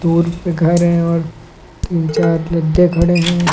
दूर पे घर है और तीन चार लद्दे खड़े हैं।